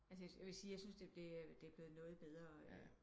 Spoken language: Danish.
Altså jeg vil sige jeg syntes det det er blevet noget bedre